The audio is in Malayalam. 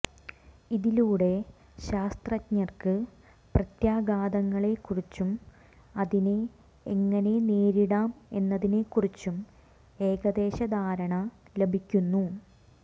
ഇതിലൂടെ ശാസ്ത്രജ്ഞര്ക്ക് പ്രത്യാഘാതങ്ങളെക്കുറിച്ചും അതിനെ എങ്ങനെ നേരിടാം എന്നതിനെക്കുറിച്ചും ഏകദേശ ധാരണ ലഭിക്കുന്നു